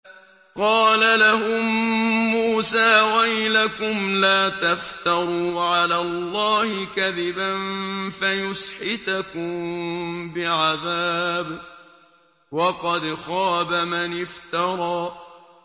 قَالَ لَهُم مُّوسَىٰ وَيْلَكُمْ لَا تَفْتَرُوا عَلَى اللَّهِ كَذِبًا فَيُسْحِتَكُم بِعَذَابٍ ۖ وَقَدْ خَابَ مَنِ افْتَرَىٰ